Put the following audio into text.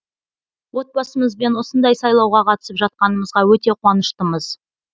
отбасымызбен осындай сайлауға қатысып жатқанымызға өте қуаныштымыз